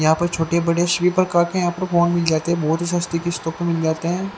यहां पर छोटे बड़े सभी प्रकार के यहां पर फोन मिल जाते है बहुत ही सस्ती किस्तों पे मिल जाते हैं।